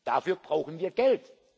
Dafür brauchen wir